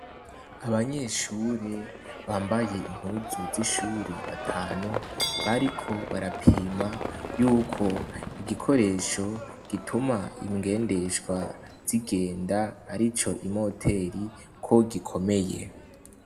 Abanyeshure bambaye impuzu z'ishure batanu bariko barapima yuko igikoresho gituma ingendesha zigenda arico imoteri, ko gikomeye.